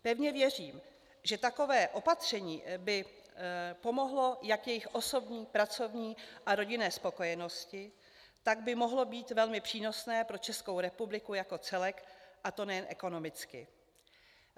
Pevně věřím, že takové opatření by pomohlo jak jejich osobní, pracovní a rodinné spokojenosti, tak by mohlo být velmi přínosné pro Českou republiku jako celek, a to nejen ekonomicky.